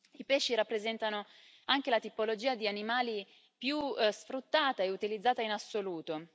I pesci rappresentano anche la tipologia di animali più sfruttata e utilizzata in assoluto.